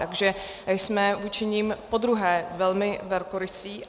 Takže jsme vůči nim podruhé velmi velkorysí.